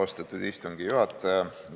Austatud istungi juhataja!